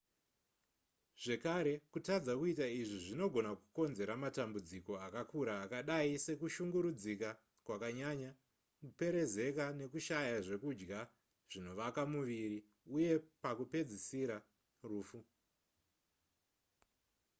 zvekare kutadza kuita izvi kunogona kukonzera matambudziko akakura akadai sekushungurudzika kwakanyanya kuperezeka nekushaya zvekudya zvinovaka muviri uye pakupedzisira rufu